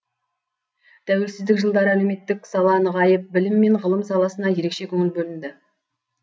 тәуелсіздік жылдары әлеуметтік сала нығайып білім мен ғылым саласына ерекше көңіл бөлінді